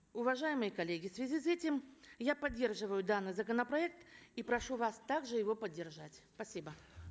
уважаемые коллеги в связи с этим я поддерживаю данный законопроект и прошу вас также его поддержать спасибо